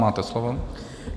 Máte slovo.